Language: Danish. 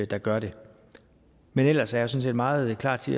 der gør det men ellers er set meget klar til